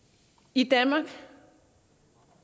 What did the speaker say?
i danmark